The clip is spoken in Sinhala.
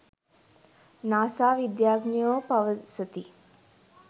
නාසා විද්‍යාඥයෝ පවසති